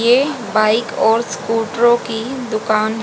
ये बाइक और स्कूटरों की दुकान--